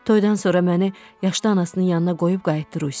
Toydan sonra məni yaşlı anasının yanına qoyub qayıtdı Rusiyaya.